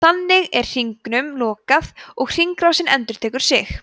þannig er hringnum lokað og hringrásin endurtekur sig